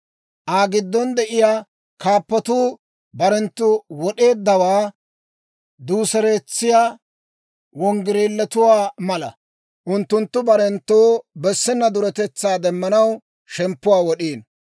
Aa giddon de'iyaa kaappatuu barenttu wod'eeddawaa duuseretsiyaa okorotuwaa mala; unttunttu barenttoo bessenna duretetsaa demanaw shemppuwaa wod'iino.